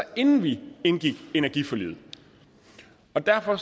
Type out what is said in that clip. inden vi indgik energiforliget og derfor